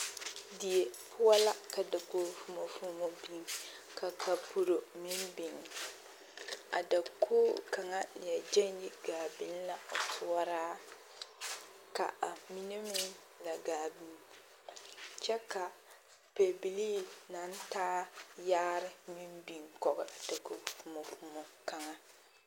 Die poɔ la ka dakogi fomɔ fomɔ biŋ ka kapuro meŋ biŋ, a dakogi kaŋa leɛ gɛŋ yi gaa biŋ la o toɔraa ka a mine meŋ la gaa biŋ kyɛ ka pebilii naŋ taa yaare meŋ biŋ kɔge dakogi fomɔ fomɔ kaŋa.